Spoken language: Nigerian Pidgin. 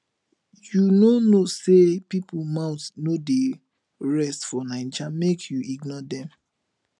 you no know sey pipo mouth no dey rest for naija make you ignore dem